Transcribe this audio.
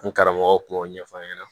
N karamɔgɔ kun y'o ɲɛfɔ an ɲɛna